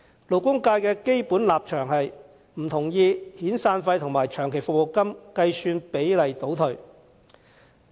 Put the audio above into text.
勞工界基本上不同意遣散費和長期服務金的計算比例倒退。